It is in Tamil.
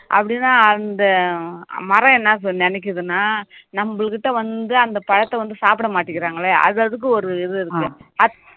அப்படின்னா அந்த மரம் என்ன சொ~ நினைக்குதுன்னா நம்புகிட்ட வந்து அந்த பழத்தை வந்து சாப்பிட மாட்டேங்குறாங்களே அது அதுக்கு ஒரு இது இருக்கு